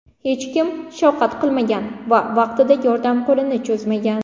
Hech kim shafqat qilmagan va vaqtida yordam qo‘lini cho‘zmagan.